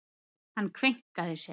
Hann kveinkaði sér.